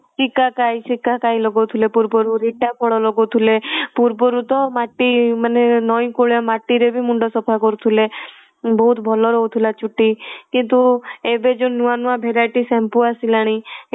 ସିକାକାଇ ସିକାକାଇ ଲଗାଉଥିଲେ ପୂର୍ବରୁ ରିଠା ଫଳ ଲଗାଉଥିଲେ ପୂର୍ବରୁ ତ ମାଟି ମାନେ ନଈ କୂଳେ ମାଟି ରେ ବି ମୁଣ୍ଡ ସଫା କରୁଥିଲେ ବହୁତ ଭଲ ରହୁଥିଲା ଚୁଟି କିନ୍ତୁ ଏବେ ଯୋଉ ନୂଆ ନୂଆ variety shampoo ଆସିଲାଣି